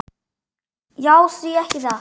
Já, því ekki það?